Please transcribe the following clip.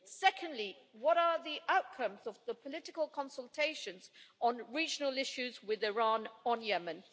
Secondly, what are the outcomes of the political consultations on regional issues with Iran on Yemen?